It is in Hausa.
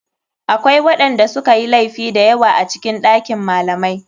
Akwai waɗanda sukayi laifi dayawa a cikin ɗakin malamai.